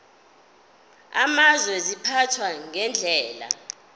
amazwe ziphathwa ngendlela